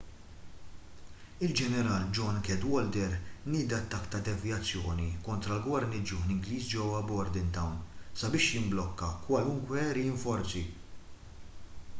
il-ġeneral john cadwalder nieda attakk ta' devjazzjoni kontra l-gwarniġġjon ingliż ġewwa bordentown sabiex jimblokka kwalunkwe rinforzi